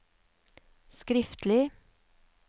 skriftlig